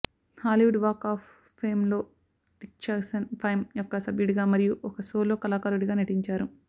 Hollywood Walk of ఫేమ్లో the Jackson Five యొక్క సభ్యుడిగా మరియు ఒక సోలో కళాకారుడిగా నటించారు